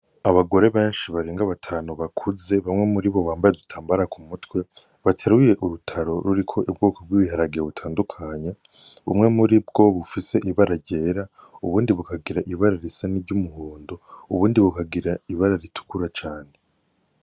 Abagore benshi barenga batanu bakuze, bamwe muribo bambaye udutambara ku mutwe, bateruye urutaro ruriko ubwoko bw'ibiharage butandukanye, bumwe muribwo bufise ibara ryera, ubundi bukagira ibara risa n'iryumuhondo ubundi bukagira ibara ritukura cane.